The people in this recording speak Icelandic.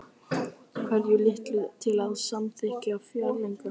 Hvetur Lilju til að samþykkja fjárlögin